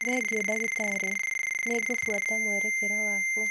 Thengio, ndagĩtarĩ. Nĩ ngũbuata mwerekera waku.